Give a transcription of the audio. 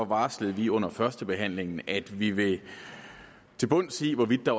varslede vi under førstebehandlingen at vi vil til bunds i hvorvidt der